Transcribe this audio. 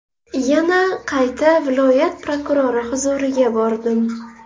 Yana qayta viloyat prokurori huzuriga bordim.